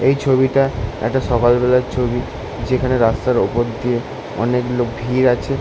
এই ছবিটা একটা সকাল বেলা ছবি। যেখানে রাস্তার ওপর দিয়ে অনেক লোক ভিড় আছে ।